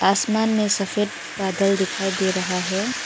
आसमान में सफेद बादल दिखाई दे रहा है।